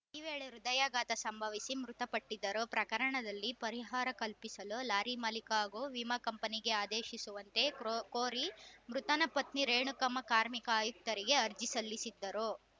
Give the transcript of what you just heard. ಈ ವೇಳೆ ಹೃದಯಘಾತ ಸಂಭವಿಸಿ ಮೃತಪಟ್ಟಿದ್ದರು ಪ್ರಕರಣದಲ್ಲಿ ಪರಿಹಾರ ಕಲ್ಪಿಸಲು ಲಾರಿ ಮಾಲಿಕ ಹಾಗೂ ವಿಮಾ ಕಂಪನಿಗೆ ಆದೇಶಿಸುವಂತೆ ಕ್ರೋ ಕೋರಿ ಮೃತನ ಪತ್ನಿ ರೇಣುಕಮ್ಮ ಕಾರ್ಮಿಕ ಆಯುಕ್ತರಿಗೆ ಅರ್ಜಿ ಸಲ್ಲಿಸಿದ್ದರು